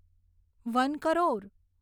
one crore